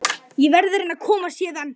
Ég verð að reyna að komast héðan.